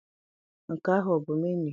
Nke ahụ a bụ menuu?